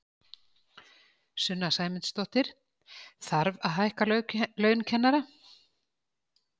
Sunna Sæmundsdóttir: Þarf að hækka laun kennara?